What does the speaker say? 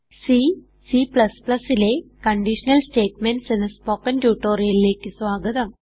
C Cലെ conditional statements എന്ന spoken ട്യൂട്ടോറിയലിലേക്ക് സ്വാഗതം